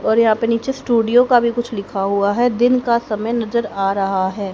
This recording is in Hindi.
और यहां पे नीचे स्टूडियो का भी कुछ लिखा हुआ है दिन का समय नजर आ रहा है।